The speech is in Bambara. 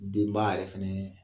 Denba yɛrɛ fana